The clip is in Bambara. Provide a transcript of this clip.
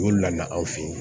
Olu nana aw fɛ yen